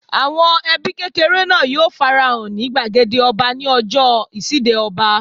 Àwọn ẹbí kékeré náà yóò fara hàn ní gbàgede ọba ní ọjọ́ ìṣíde ọba